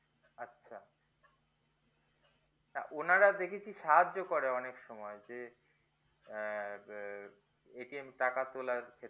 হ্যা ওনারা দেখেছি সাহায্য করে অনেক সময় যে আহ টাকা তোলার ক্ষেত্রে